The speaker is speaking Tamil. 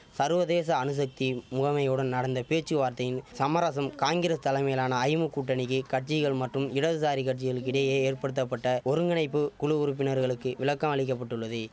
சர்வதேச அணுசக்தி முகமையுடன் நடந்த பேச்சுவார்த்தையின் சமரசம் காங்கிரஸ் தலைமையிலான ஐமு கூட்டணிக்கி கட்சிகள் மற்றும் இடதுசாரி கட்சிகளுக்கு இடையே ஏற்படுத்தப்பட்ட ஒருங்கிணைப்பு குழு உறுப்பினர்களுக்கு விளக்கம் அளிக்க பட்டுள்ளது